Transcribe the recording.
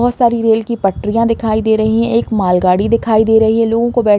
बहोत सारी रेल की पटरियाँ दिखाई दे रही हैं। एक माल गाड़ी दिखाई दे रही है। लोगों को बैठ --